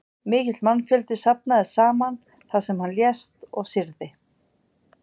Mikill mannfjöldi safnaðist saman þar sem hann lést og syrgði.